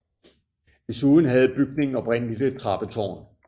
Desuden havde bygningen oprindeligt et trappetårn